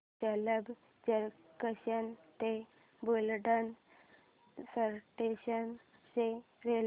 Jalamb junction ते Buldhana station च्या railway